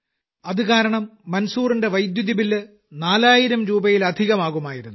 അതുക കാരണം മൻസൂറിന്റെ വൈദ്യുതി ബില്ല് നാലായിരംരൂപയിലധികമാകുമായിരുന്നു